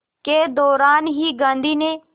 के दौरान ही गांधी ने